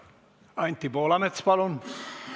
Anti Poolamets, palun!